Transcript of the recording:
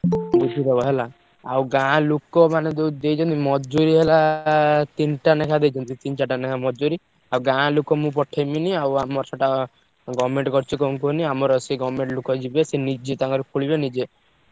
ବୁଝିଦବ ହେଲା, ଆଉ ଗାଁ ଲୋକ ମାନେ ଯୋଉ ଦେଇଛନ୍ତି ମଜୁରି ହେଲା ତିନିଟା ନେଖା ଦେଇଛନ୍ତି। ତିନି ଚାରିଟା ନେଖା ମଜୁରି ଆଉ ଗାଁ ଲୋକ ମୁଁ ପଠେଇବିନି ଆଉ ଆମର ସେଟା government କରିଛି କଣ କୁହନି ଆମର ସିଏ government ଲୋକ ଯିବେ, ସିଏ ନିଜେ ତାଙ୍କର ଖୋଲିବେ ନିଜେ।